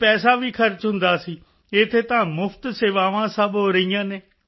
ਅਤੇ ਪੈਸਾ ਵੀ ਖਰਚ ਹੁੰਦਾ ਸੀ ਇੱਥੇ ਤਾਂ ਮੁਫ਼ਤ ਸੇਵਾਵਾਂ ਸਭ ਹੋ ਰਹੀਆਂ ਹਨ